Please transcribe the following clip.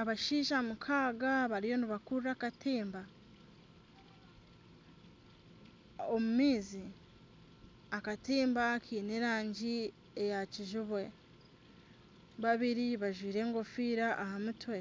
Abashaija mukaga bariyo nibakurura akatimba omu maizi . Akatimba kiine erangi eya kijubwe babiri bajwire enkofiira aha mutwe